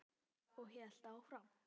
Og hélt áfram: